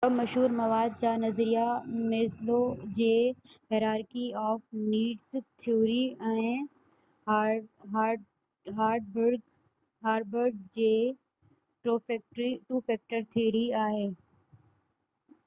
ٻہ مشهور مواد جا نظريا ميسلو جي hierarchy of needs theory ۽ Herzberg جي ٽو فيڪٽر ٿيوري